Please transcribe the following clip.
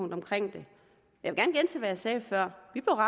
det er